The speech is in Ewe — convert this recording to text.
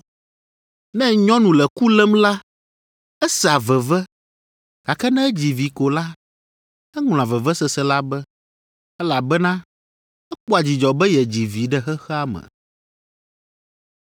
Ne nyɔnu le ku lém la, esea veve, gake ne edzi vi ko la, eŋlɔa vevesese la be, elabena ekpɔa dzidzɔ be yedzi vi ɖe xexea me.